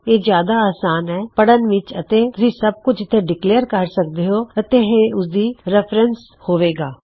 ਇਹ ਜਿਆਦਾ ਅਸਾਨ ਹੈ ਪੜਣ ਵਿੱਚ ਅਤੇ ਤੁਸੀਂ ਸੱਬ ਕੁੱਛ ਇਥੇ ਡਿਕਲੇਅਰ ਕਰ ਸਕਦੇ ਹੋਂ ਅਤੇ ਇਹ ਉਸਦੀ ਰੈਫਰੈਨੱਸ ਵਿੱਚ ਹੋਵੇਗਾ